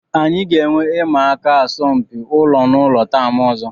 Anyị ga-enwe ịma aka asọmpi ụlọ na ụlọ taam ọzọ